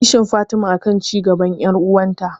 Kishin Fatima akan cigaban yar'uwarta